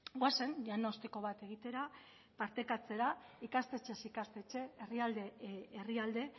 goazen diagnostiko bat egitera partekatzera ikastetxez ikastetxe herrialdez herrialde